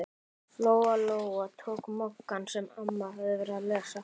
Lóa-Lóa tók Moggann sem amma hafði verið að lesa.